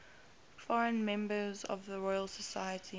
foreign members of the royal society